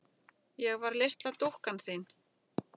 Ég var litla dúkkan þín.